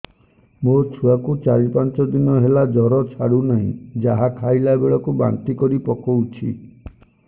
ମୋ ଛୁଆ କୁ ଚାର ପାଞ୍ଚ ଦିନ ହେଲା ଜର ଛାଡୁ ନାହିଁ ଯାହା ଖାଇଲା ବେଳକୁ ବାନ୍ତି କରି ପକଉଛି